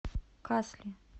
касли